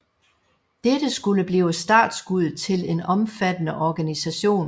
Dette skulle blive startskuddet til en omfattende organisation